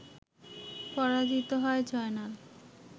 পরাজিত হয় জয়নাল